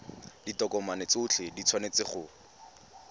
ditokomane tsotlhe di tshwanetse go